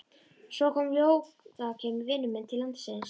Svo kom Jóakim vinur minn til landsins.